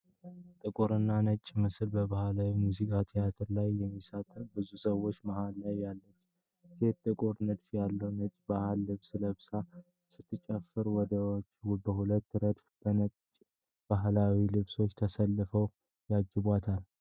ጥቁር እና ነጭ ምስል በባህላዊ የሙዚቃ ትርኢት ላይ የሚሳተፉ ብዙ ሰዎች ። መሃል ላይ ያለችው ሴት ጥቁር ንድፍ ያለው ነጭ የባህል ልብስ ለብሳ ስትጨፍር፣ ወንዶች በሁለት ረድፍ በነጭ ባህላዊ ልብሶች ተሰልፈው ያጅቧታል።